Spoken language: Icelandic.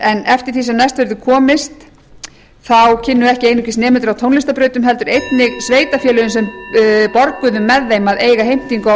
en eftir því sem næst verður komist þá kynnu ekki einungis nemendur á tónlistarbrautum heldur einnig sveitarfélögin sem borguðu með þeim að eiga heimtingu á